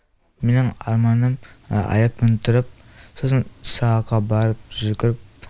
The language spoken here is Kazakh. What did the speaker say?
менің арманым аяқпен тұрып сосын сабаққа барып жүгіріп